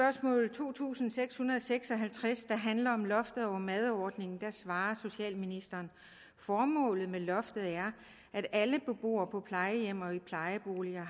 to tusind seks hundrede og seks og halvtreds der handler om loftet over madordningen svarede socialministeren formålet med loftet er at alle beboere på plejehjem og i plejeboliger